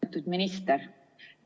Austatud minister!